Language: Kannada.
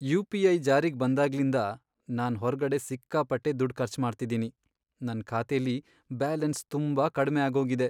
ಯು.ಪಿ.ಐ. ಜಾರಿಗ್ ಬಂದಾಗ್ಲಿಂದ ನಾನ್ ಹೊರ್ಗಡೆ ಸಿಕ್ಕಾಪಟ್ಟೆ ದುಡ್ಡ್ ಖರ್ಚ್ ಮಾಡ್ತಿದೀನಿ.. ನನ್ ಖಾತೆಲಿ ಬ್ಯಾಲೆನ್ಸ್ ತುಂಬಾ ಕಡ್ಮೆ ಆಗೋಗಿದೆ.